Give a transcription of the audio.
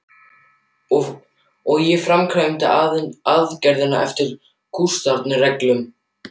Og ég framkvæmdi aðgerðina eftir kúnstarinnar reglum.